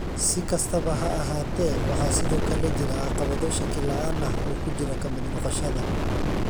Si kastaba ha ahaatee, waxaa sidoo kale jira caqabado shaki la'aan ah oo ku jira ka mid noqoshada.